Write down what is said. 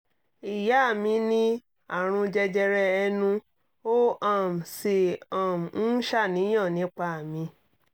ìyá mi ní àrùn jẹjẹrẹ ẹnu ó um sì um ń ṣàníyàn nípa mi